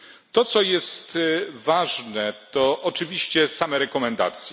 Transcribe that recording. To co jest ważne, to oczywiście same rekomendacje.